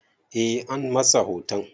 Eh, an masa hoton